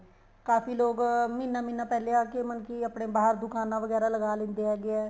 ਕਾਫ਼ੀ ਲੋਕ ਮਹੀਨਾ ਮਹੀਨਾ ਪਹਿਲੇ ਆਕੇ ਮਤਲਬ ਕੀ ਆਪਣੇ ਬਹਾਰ ਦੁਕਾਨਾ ਵਗੈਰਾ ਲਾ ਲਿੰਦੇ ਹੈਗੇ ਏ